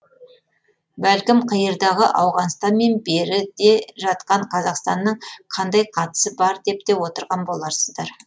бәлкім қиырдағы ауғанстан мен бері де жатқан қазақстанның қандай қатысы бар деп те отырған боларсыздар